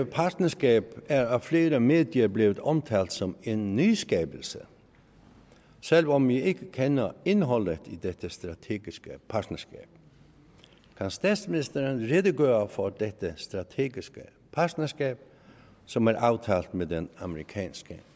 partnerskab er af flere medier blevet omtalt som en nyskabelse selv om vi ikke kender indholdet i dette strategiske partnerskab kan statsministeren redegøre for dette strategiske partnerskab som er aftalt med den amerikanske